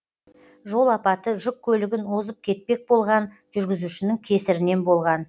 жол апаты жүк көлігін озып өтпек болған жүргізушінің кесірінен болған